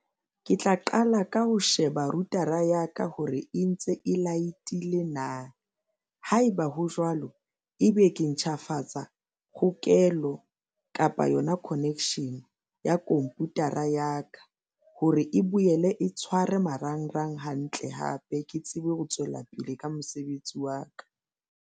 Ke tla qala ka ho sheba router-a ya ka hore e ntse e light-ile na haeba ho jwalo, ebe ke ntjhafatsa hokelo kapa yona connection ya computer-a ya ka hore e boele e tshware marangrang hantle hape ke tsebe ho tswela pele ka mosebetsi wa ka.